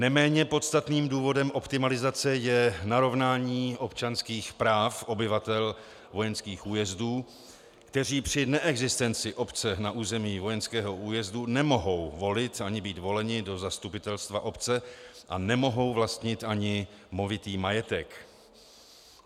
Neméně podstatným důvodem optimalizace je narovnání občanských práv obyvatel vojenských újezdů, kteří při neexistenci obce na území vojenského újezdu nemohou volit ani být voleni do zastupitelstva obce a nemohou vlastnit ani movitý majetek.